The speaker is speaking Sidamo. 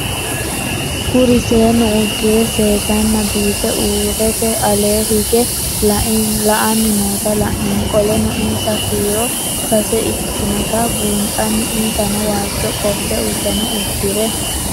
Kuri seenu udire sesena biife urite ale hige la'ani noota la'nemo qoleno insa kiiro sase ikinotana bunxana insano waajo qofe udune udire